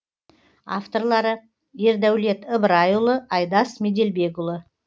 авторлары ердәулет ыбырайұлы айдос меделбекұлы